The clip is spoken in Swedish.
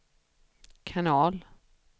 kanal